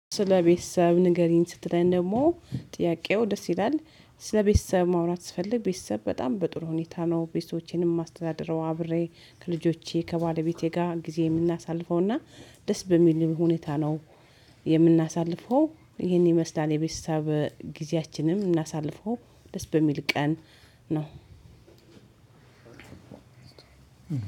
ስለ ቤተሰብ ንገሪኝ? ስትለኝ ደግሞ ጥያቄው ደስ ይላል። ስለ ቤተሰብ ማውራት ስፈልግ ቤተሰብ በጣም በጥሩ ሁኔታ ነው ቤተሰቦቼን ማስተዳድረው አብሬ ከልጆቼ ከባለቤቴ ጋር ጊዜ የምናሳልፈው። እና ደስ በሚል ሁኔታ ነው የምናሳልፈው። ይሄን ይመስላል የቤተሰብ ጊዜያችንም እናሳልፈው ደስ በሚል ቀን ነው።